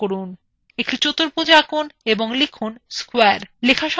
একটি চতুর্ভুজ আঁকুন এবং লিখুন square